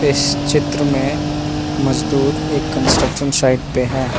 इस चित्र मे मजदूर एक कंस्ट्रक्शन साइट पे है।